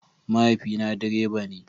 Mahaifina direba ne.